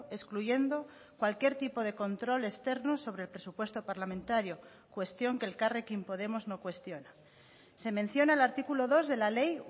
excluyendo cualquier tipo de control externo sobre el presupuesto parlamentario cuestión que elkarrekin podemos no cuestiona se menciona el artículo dos de la ley